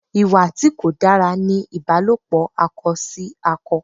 Ìwà tí kò dára ní ìbálòpò akọ sí akọ.